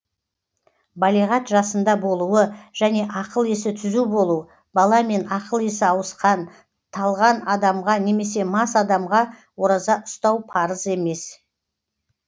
балиғат жасында болуы және ақыл есі түзу болу бала мен ақыл есі ауысқан талған адамға немесе мас адамға ораза ұстау парыз емес